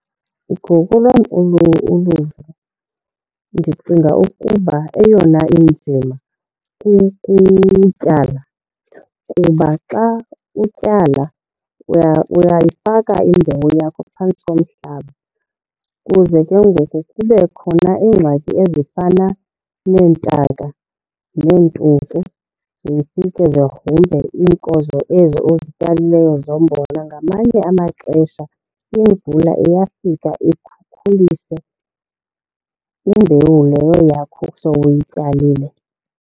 Ngokolwam uluvo, ndicinga ukuba eyona inzima kukutyala kuba xa utyala uyayifaka imbewu yakho phantsi komhlaba kuze ke ngoku kube khona iingxaki ezifana neentaka neentuku zifike zigrumbe iinkozo ezo uzityalileyo zombona. Ngamanye amaxesha imvula iyafika ikhukhulise imbewu leyo yakho sowuyityalile.